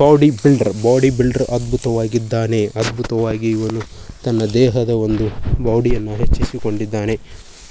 Body builder body builder ತುಂಬಾ ಅದ್ಭುತವಾಗಿದ್ದಾನೆ ಅದ್ಭುತವಾಗಿ ಇವನು ತನ್ನ ದೇಹದ ಒಂದು ಬಾಡಿಯನ್ನು ಹೆಚ್ಚಿಸಿಕೊಂಡಿದ್ದಾನೆ.